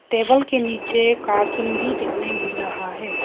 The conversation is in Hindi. टेबल के नीचे कार्टून भी देखने मिल रहा है।